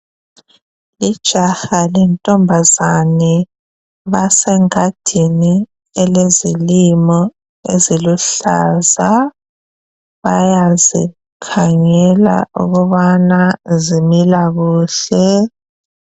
Ijaha lentombazane basengadini elezilimo eziluhlaza. Bayazikhangela ukubana zimila kuhle.